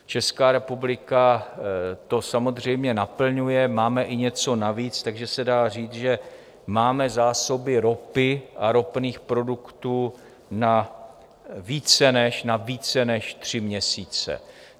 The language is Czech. Česká republika to samozřejmě naplňuje, máme i něco navíc, takže se dá říct, že máme zásoby ropy a ropných produktů na více než tři měsíce.